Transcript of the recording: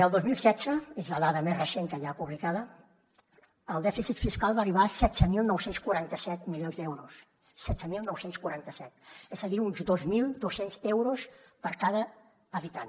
el dos mil setze és la dada més recent que hi ha publicada el dèficit fiscal va arribar a setze mil nou cents i quaranta set milions d’euros setze mil nou cents i quaranta set és a dir uns dos mil dos cents euros per cada habitant